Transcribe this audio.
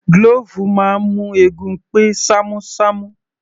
Glove máa ń mú eegun pé ṣamu ṣamu